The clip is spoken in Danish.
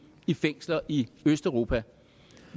i fængsler i østeuropa